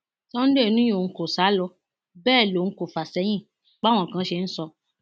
sunday ni òun kò sá lọ bẹẹ lòun kò fà sẹyìn báwọn kan ṣe ń sọ